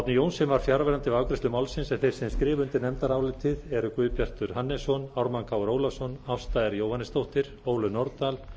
árni johnsen var fjarverandi við afgreiðslu málsins þeir sem skrifa undir nefndarálitið eru guðbjartur hannesson ármann krónu ólafsson ásta r jóhannesdóttir ólöf nordal